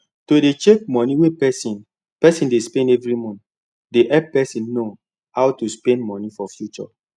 to dey check money wey person person dey spend every month dey help person know how to spend money for future